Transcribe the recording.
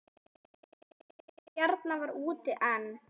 Kona Bjarnar var úti en